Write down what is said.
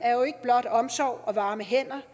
er jo ikke blot omsorg og varme hænder